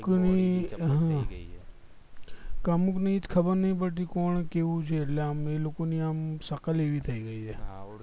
અમુક ની ખબર નહિ પડતી કોણ કેવું છે એટલે આમ એ લોકો ની આમ શકલ એવી થય ગય છે